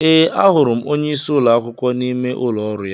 Ee, a hụrụ m onyeisi ụlọ akwụkwọ n'ime ụlọ ọrụ ya